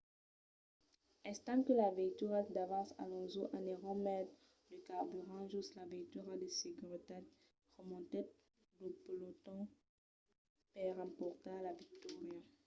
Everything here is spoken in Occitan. estant que las veituras davant alonso anèron metre de carburant jos la veitura de seguretat remontèt lo peloton per emportar la victòria